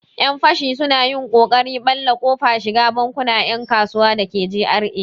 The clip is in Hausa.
Yan fashi sun yi ƙoƙarin ɓalle kofar shiga bankunan 'yan kasuwa dake GRA.